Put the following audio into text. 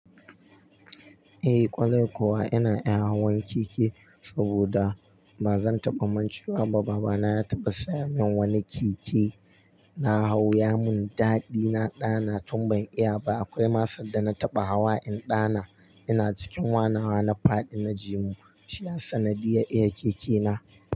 Eh kwarai kuwa ina iya hawan keke saboda bazan taɓa mun cewa ba. Baba na ya taɓa saya min wani keke na hau ya mun daɗi. Na ɗana tun ban iya ba. Akwai masu da na taɓa hawa in ɗana. Ina cikin wanawa na faɗi na jimu shi har sanadiyar iya keke na.